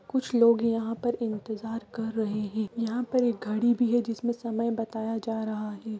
कुछ लोग यहाँ पर इंतजार कर रहें हैं यहाँ पर एक घड़ी भी है जिसमे समय बताया जा रहा है।